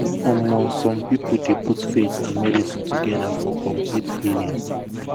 um some people dey put faith and medicine together for complete healing. um